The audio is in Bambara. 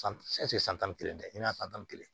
san tan ni kelen tɛ i n'a san tan ni kelen